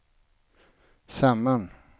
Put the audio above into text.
samman